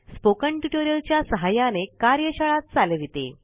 spoken tutorial च्या सहाय्याने कार्यशाळा चालविते